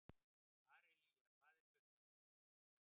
Aríella, hvað er klukkan?